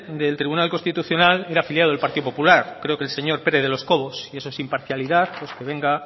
del tribunal constitucional era afiliado del partido popular creo que el señor pérez de los cobos si eso es imparcialidad pues que venga